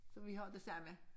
Så vi har det samme